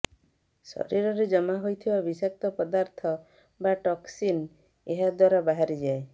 ଶରୀରରେ ଜମାହେଉଥିବା ବିଷାକ୍ତ ପଦାର୍ଥ ବା ଟକ୍ସିନ୍ ଏହା ଦ୍ୱାରା ବାହାରିଯାଏ